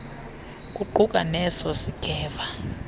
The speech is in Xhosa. kuquka neso singeva